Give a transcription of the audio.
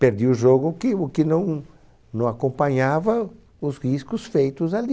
Perdia o jogo, o que o que não não acompanhava os riscos feitos ali.